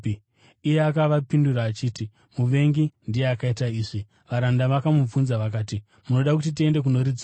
“Akavapindura achiti, ‘Muvengi ndiye akaita izvi.’ “Varanda vakamubvunza vakati, ‘Munoda kuti tiende kunoridzura here?’